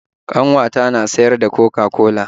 Ƙanwata na siyar da coca-cola.